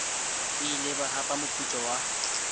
ile ba hapa moputso wa